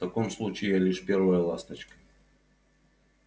в таком случае я лишь первая ласточка